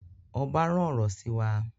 Oba rán ọrọ sí wa